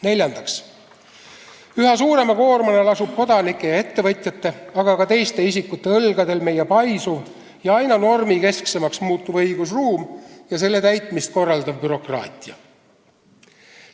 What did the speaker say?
Neljandaks, üha suurema koormana lasub kodanike ja ettevõtjate, aga ka teiste isikute õlgadel meie paisuv ja aina normikesksemaks muutuv õigusruum ja selle täitmist korraldav bürokraatia.